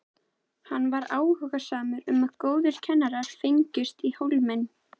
Hann var áhugasamur um að góðir kennarar fengjust í Hólminn.